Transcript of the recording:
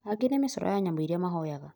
angĩ nĩ micoro ya nyamũ iria mahoyaga